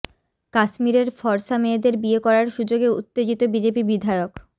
কাশ্মীরের ফরসা মেয়েদের বিয়ে করার সুযোগে উত্তেজিত বিজেপি বিধায়ক